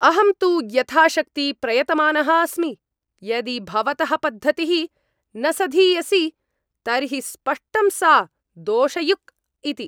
अहं तु यथाशक्ति प्रयतमानः अस्मि, यदि भवतः पद्धतिः न सधीयसी तर्हि स्पष्टं सा दोषयुक् इति।